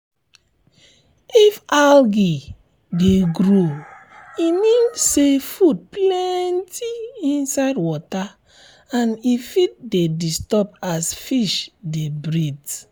if algae de grow e mean say food plenty inside water and e fit de disturb as fish de breathe